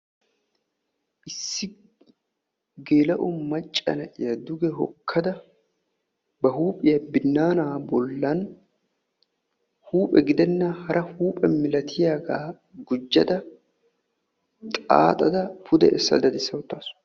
issi gela''o macca na'iyaa duge hokkada ba huphiyaa binaana bollan huuphe gidenna hara huuphe milatiyaaga gujjada xaaxxada pude essa daddissa wottaasu.